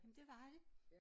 Jamen det var det